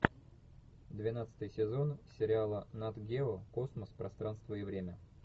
двенадцатый сезон сериала нат гео космос пространство и время